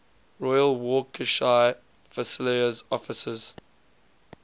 royal warwickshire fusiliers officers